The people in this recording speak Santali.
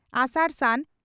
ᱟᱥᱟᱲᱼ ᱥᱟᱱ